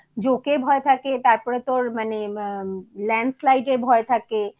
জোঁকের ভয় থাকে তারপরে তোর মানে আমম Landslide ভয় থাকে